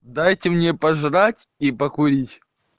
дайте мне пожрать и покурить